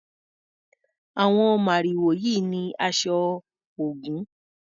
Àwon màrìwò yìí ni aṣọ Ògún.